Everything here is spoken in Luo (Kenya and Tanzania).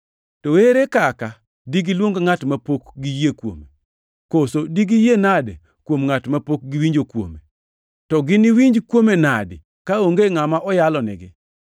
To ere kaka digiluong ngʼat mapok giyie kuome? Koso digiyie nadi kuom Ngʼat mapok giwinjo kuome? To giniwinj kuome nadi kaonge ngʼama oyalonigi?